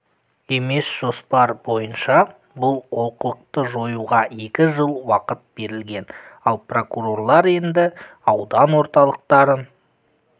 емес жоспар бойынша бұл олқылықты жоюға екі жыл уақыт берілген ал прокурорлар енді аудан орталықтарын